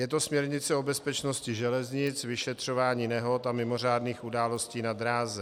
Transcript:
Je to směrnice o bezpečnosti železnic, vyšetřování nehod a mimořádných událostí na dráze.